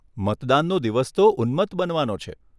મતદાનનો દિવસ તો ઉન્મત્ત બનવાનો છે.